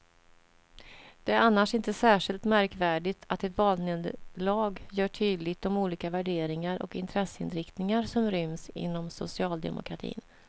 Det är annars inte särskilt märkvärdigt att ett valnederlag gör tydligt de olika värderingar och intresseinriktningar som ryms inom socialdemokratin.